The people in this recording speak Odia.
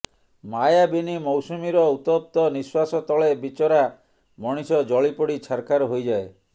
ମାୟାବିନୀ ମୌସୁମୀର ଉତ୍ତପ୍ତ ନିଃଶ୍ୱାସ ତଳେ ବିଚରା ମଣିଷ ଜଳିପୋଡ଼ି ଛାରଖାର ହୋଇଯାଏ